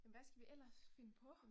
Men hvad skal vi ellers finde på?